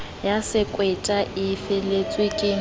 ya sekweta e felletsweng ke